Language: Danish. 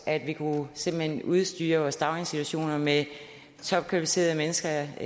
at vi simpelt hen kunne udstyre vores daginstitutioner med topkvalificerede mennesker